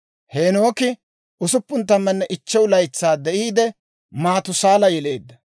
Heenooki 65 laytsaa de'iide, Maatusaala yeleedda;